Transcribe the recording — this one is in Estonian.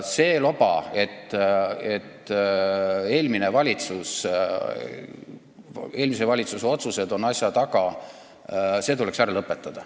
See loba, et kõige taga on eelmise valitsuse otsused, tuleks ära lõpetada.